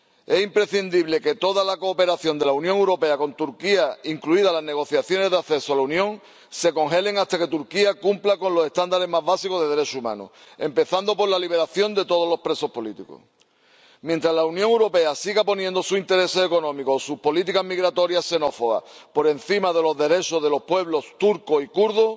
Es imprescindible que toda la cooperación de la Unión Europea con Turquía, incluidas las negociaciones de acceso a la Unión, se congelen hasta que Turquía cumpla con los estándares más básicos de derechos humanos, empezando por la liberación de todos los presos políticos. Mientras la Unión Europea siga poniendo sus intereses económicos o sus políticas migratorias xenófobas por encima de los derechos de los pueblos turco y kurdo,